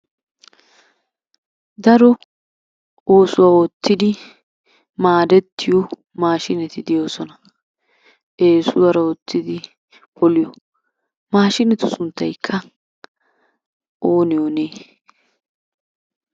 Daro oosuwa oottidi maadettiyo maashshineti de'oosona. Eesuwaara oottidi poliyo maashinetu sunttaykka oonee oonee?